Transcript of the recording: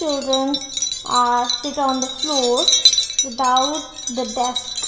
students are sit on the floor without the desk.